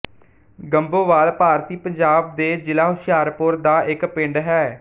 ਗੰਭੋਵਾਲ ਭਾਰਤੀ ਪੰਜਾਬ ਦੇ ਜਿਲ੍ਹਾ ਹੁਸ਼ਿਆਰਪੁਰ ਦਾ ਇੱਕ ਪਿੰਡ ਹੈ